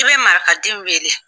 I bɛ maraka den wele